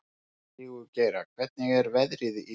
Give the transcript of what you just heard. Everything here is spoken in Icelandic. Sigurgeira, hvernig er veðrið í dag?